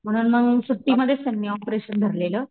म्हणून मग सुट्टीमधेच त्यांनी ऑपरेशन धरलेलं.